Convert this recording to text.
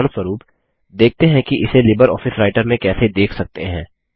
उदाहरणस्वरुप देखते हैं कि इसे लिबर ऑफिस राइटर में कैसे देख सकते हैं